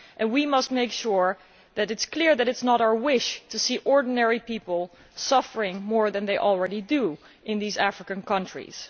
We must make it clear that it is not our wish to see ordinary people suffering more than they already do in these African countries.